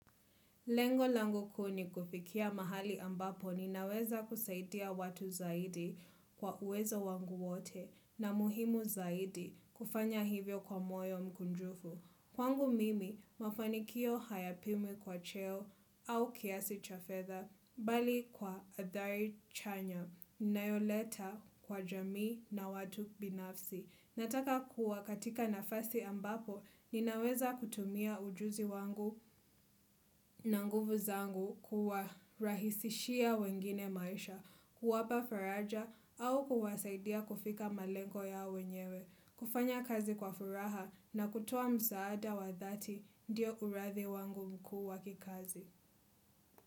Lengo langu kuu nikufikia mahali ambapo ninaweza kusaidia watu zaidi kwa uwezo wangu wote na muhimu zaidi kufanya hivyo kwa moyo mkunjufu. Kwangu mimi mafanikio hayapimwe kwa cheo au kiasi cha fetha bali kwa adhari chanya inayoleta kwa jamii na watu binafsi. Nataka kuwa katika nafasi ambapo ninaweza kutumia ujuzi wangu na nguvu zangu kuwa rahisishia wengine maisha, kuwapa faraja au kuwasaidia kufika malenko ya wenyewe, kufanya kazi kwa furaha na kutuwa mzaada wa dhati diyo urathi wangu mkuu waki kazi.